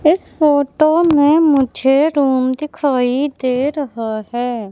इस फोटो में मुझे रूम दिखाई दे रहा है।